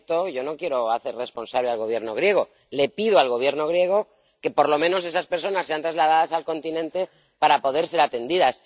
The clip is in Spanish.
Yo no quiero hacer responsable al Gobierno griego le pido al Gobierno griego que, por lo menos, esas personas sean trasladadas al continente para poder ser atendidas.